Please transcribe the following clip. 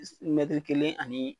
Is kelen ani